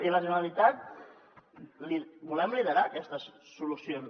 i la generalitat volem liderar aquestes solucions